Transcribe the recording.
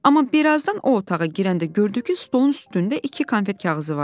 Amma birazdan o otağa girəndə gördü ki, stolun üstündə iki konfet kağızı var.